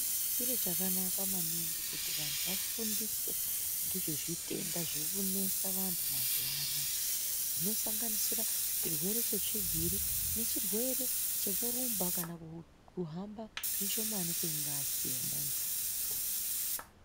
Chiro chakanaka maningi kuti vantu vafundiswe ngezve zvitenda zvinonesa vantu mazuva anawa Zvinosanganisira zvirwere zvetsvigiri nezvirwere zvekurumba kana kuhamba zvishomani kwengazi yemuntu.